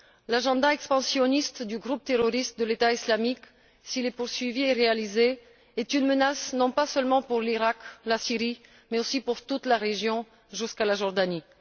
L'agenda expansionniste du groupe terroriste de l'État islamique, s'il est poursuivi et réalisé, est une menace non pas seulement pour l'Iraq, la Syrie, mais aussi pour toute la région jusqu'à la Jordanie.